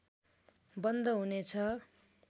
बन्द हुने छ